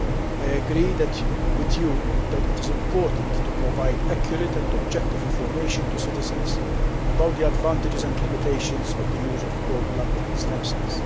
I agree with you that it is important to provide accurate and objective information to citizens about the advantages and limitations of the use of cord blood stem cells.